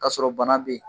K'a sɔrɔ bana bɛ yen